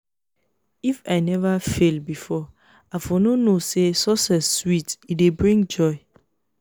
if i never fail before i for no know say success sweet e dey bring joy